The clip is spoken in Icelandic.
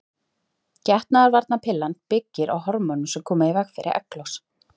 Getnaðarvarnarpillan byggir á hormónum sem koma í veg fyrir egglos.